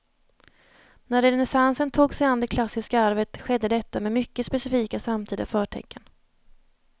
När renässansen tog sig an det klassiska arvet skedde detta med mycket specifika samtida förtecken.